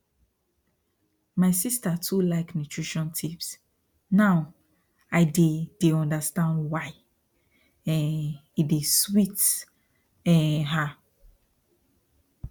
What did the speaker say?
my sister too like nutrition tips now i dey dey understand why um e dey sweet um her